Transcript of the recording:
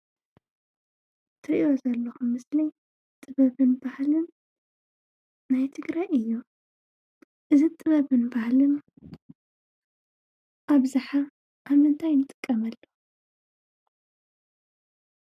እትሪእዎ ዘለኹም ምስሊ ጥበብን ባህልን ናይ ትግራይ እዩ ፡፡እዚ ጥበብን ባህልን ኣብዝሓ ኣብ ምንታይ ንጥቀመሉ?